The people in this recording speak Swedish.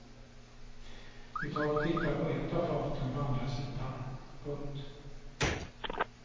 Vi tar och tittar på ett av faten på andra sidan. punkt